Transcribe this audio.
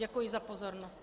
Děkuji za pozornost.